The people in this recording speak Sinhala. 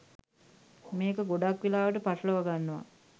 මේක ගොඩක් වෙලාවට පටලවගන්නව.